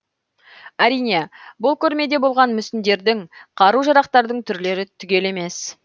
әрине бұл көрмеде болған мүсіндердің қару жарақтардың түрлері түгел емес